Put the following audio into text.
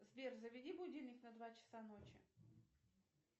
сбер заведи будильник на два часа ночи